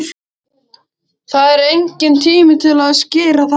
Það er enginn tími til að skýra það út.